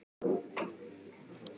Jóhannes: Hvernig líst þér á þetta?